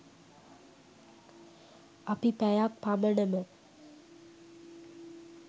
අපි පැයක් පමණම